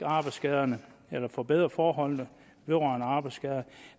arbejdsskader eller forbedre forholdene vedrørende arbejdsskader